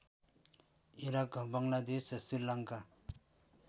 Iraq Bangladesh Sri Lanka